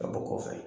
Ka bɔ kɔfɛ